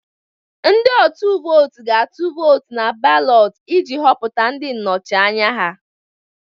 Ndị atum vootu ga-atụ vootu na balotu iji họpụta ndị nnọchi anya ha.